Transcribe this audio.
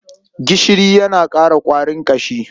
Gishiri yana ƙara ƙwarin ƙashi.